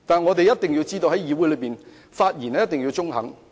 我們一定要知道，在議會的發言一定要中肯。